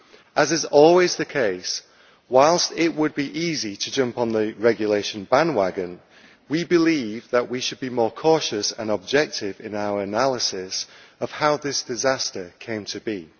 As is always the case, whilst it would be easy to jump on the regulation bandwagon, we believe that we should be more cautious and objective in our analysis of how this disaster came to be.